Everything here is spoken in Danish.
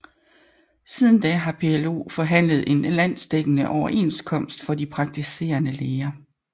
Siden da har PLO forhandlet én landsdækkende overenskomst for de praktiserende læger